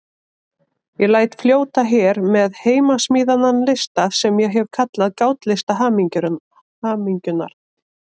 Ég læt fljóta hér með heimasmíðaðan lista sem ég hef kallað Gátlista hamingjunnar.